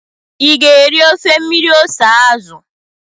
ị ga-eri ofe mmiri ose azụ?